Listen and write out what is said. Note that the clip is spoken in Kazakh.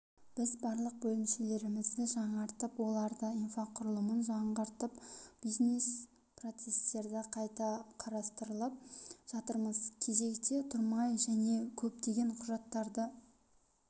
біз барлық бөлімшелерімізді жаңартып олардың инфрақұрылымын жаңғыртып бизнес-процесстерді қайта қарастырып жатырмыз кезекте тұрмай және көптеген құжаттарды